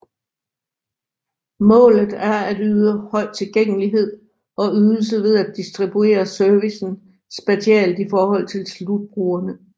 Målet er at yde høj tilgængelighed og ydelse ved at distribuere servicen spatialt i forhold til slutbrugerne